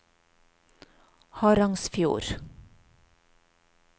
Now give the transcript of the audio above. Harangsfjord